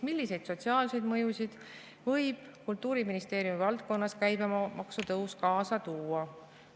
Milliseid sotsiaalseid mõjusid võib Kultuuriministeeriumi valdkonnas käibemaksu tõus kaasa tuua?